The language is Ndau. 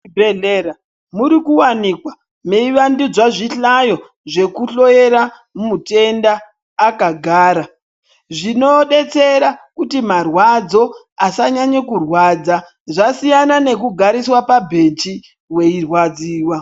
Muzvibhedhlera murikuvanikwa meivandudzwa zvihlayo zvekuhloyera mutenda akagara. Zvinobetsera kuti marwadzo asanyanya kurwadza zvasiyana nekugariswa pabheji veirwadziwa.